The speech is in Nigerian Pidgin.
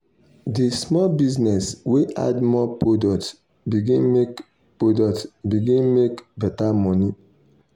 the small business wey add more product begin make product begin make better money.